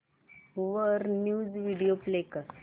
वर news video play कर